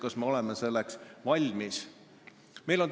Kas me oleme selleks valmis?